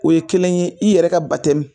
O ye kelen ye i yɛrɛ ka